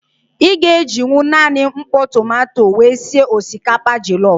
Ị ga-ejinwu naanị mkpọ tomanto wee sị osikapa jọlọf.